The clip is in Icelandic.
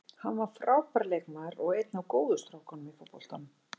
Hann var frábær leikmaður og er einn af góðu strákunum í fótboltanum.